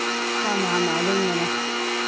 ஆமா ஆமா அது உண்மைதான்